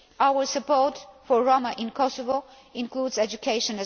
Our support for Roma in Kosovo also includes education.